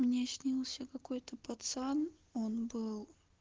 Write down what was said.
мне снился какой-то пацан он был